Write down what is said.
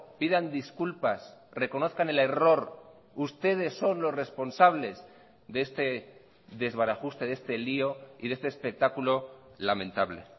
pidan disculpas reconozcan el error ustedes son los responsables de este desbarajuste de este lío y de este espectáculo lamentable